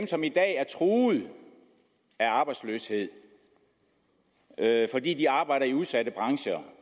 som i dag er truet af arbejdsløshed fordi de arbejder i udsatte brancher